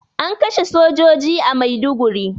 An kashe sojoji a Maiduguri